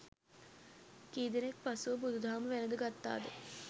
කීදෙනෙක් පසුව බුදුදහම වැලද ගත්තද